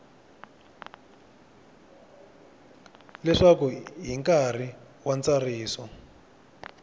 leswaku hi nkarhi wa ntsariso